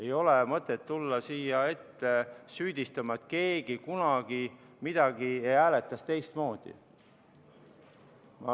Ei ole mõtet tulla siia ette süüdistama, et keegi kunagi hääletas midagi teistmoodi.